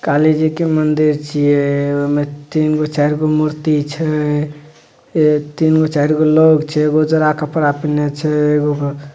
काली जी के मंदिर छीये ओय में तीनगो चारगो मूर्ति छै तीनगो चारगो लोग छैएगो उजड़ा कपड़ा पीनने छै। एगो--